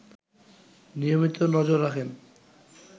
নিয়মিত নজর রাখেন